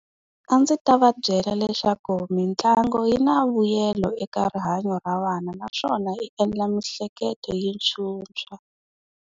A ndzi ta va byela leswaku mitlangu yi na vuyelo eka rihanyo ra vana naswona yi endla miehleketo yi phyuphya.